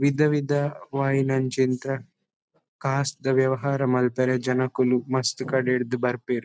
ವಿಧ ವಿಧವಾಯಿ ನಂಚಿಂತ ಕಾಸ್ ದ ವ್ಯವಹಾರ ಮನ್ಪೆರೆ ಜನಕುಲು ಮಸ್ತ್ ಕಡೆರ್ದ್ ಬರ್ಪೆರ್.